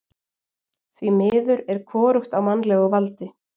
Því miður er hvorugt á mannlegu valdi.